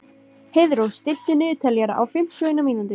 Heiðrós, stilltu niðurteljara á fimmtíu og eina mínútur.